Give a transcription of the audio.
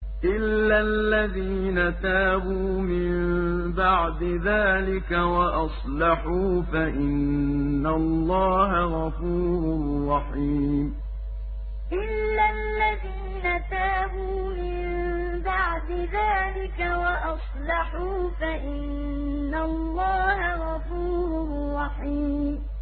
إِلَّا الَّذِينَ تَابُوا مِن بَعْدِ ذَٰلِكَ وَأَصْلَحُوا فَإِنَّ اللَّهَ غَفُورٌ رَّحِيمٌ إِلَّا الَّذِينَ تَابُوا مِن بَعْدِ ذَٰلِكَ وَأَصْلَحُوا فَإِنَّ اللَّهَ غَفُورٌ رَّحِيمٌ